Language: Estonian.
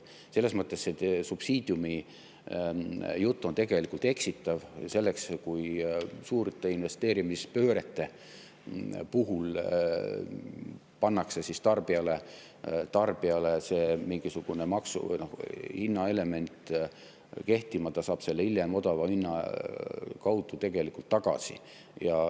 Selles mõttes see subsiidiumijutt on tegelikult eksitav, sest kui suurte investeerimispöörete puhul pannakse tarbijale kehtima mingisugune hinnaelement, siis ta saab selle hiljem odavama hinna kaudu tegelikult tagasi.